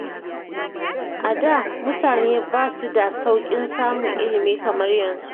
A da, mutane ba su da sauƙin samun ilimi kamar yanzu.